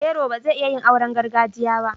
Yero ba zai iya yin auren gargajiya ba